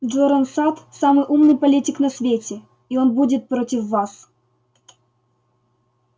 джоран сатт самый умный политик на свете и он будет против вас